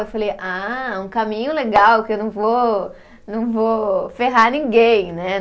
Eu falei, ah, um caminho legal que eu não vou, não vou ferrar ninguém, né?